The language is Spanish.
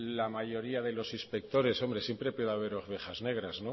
la mayoría de los inspectores hombre siempre puede haber ovejas negras